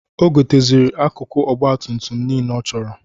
O goteziri akụkụ ọgbatumtum nile ọ chọrọ.